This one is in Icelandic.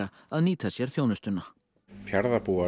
að nýta sér þjónustuna